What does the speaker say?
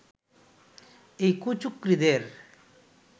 এই কুচক্রীদের